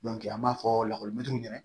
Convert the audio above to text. an b'a fɔ lakɔlimɛtiriw ɲɛna